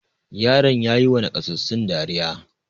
Yaran ya yiwa nakasassun dariya.